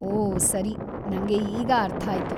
ಓ ಸರಿ, ನಂಗೆ ಈಗ ಅರ್ಥ ಆಯ್ತು.